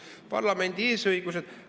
Parlamendi eesõigused ...